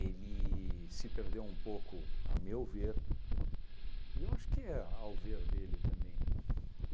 se perdeu um pouco, ao meu ver, e eu acho que ao ver dele também.